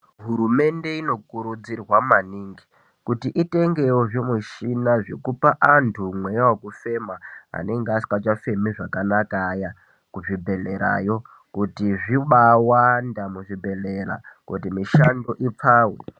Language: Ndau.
Hurumende inokurudzirwa maningi kuti itengewo zvimushina zvekupa antu mweya wekufema anenge asingachafemi zvakanaka kuzvibhehlerayo kuti zvibawanda kuzvibhehleya kuti mishando ipfave.